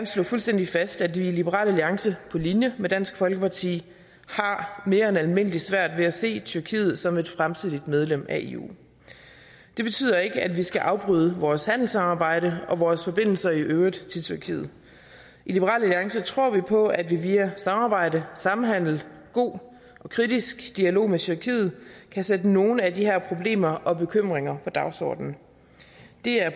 slå fuldstændig fast at vi i liberal alliance på linje med dansk folkeparti har mere end almindelig svært ved at se tyrkiet som et fremtidigt medlem af eu det betyder ikke at vi skal afbryde vores handelssamarbejde og vores forbindelser i øvrigt til tyrkiet i liberal alliance tror vi på at vi via samarbejde samhandel og god og kritisk dialog med tyrkiet kan sætte nogle af de her problemer og bekymringer på dagsordenen det er